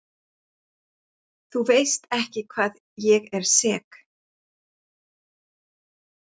Þú veist ekki hvað ég er sek.